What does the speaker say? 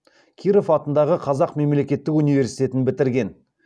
киров атындағы қазақ мемлекеттік университетін бітірген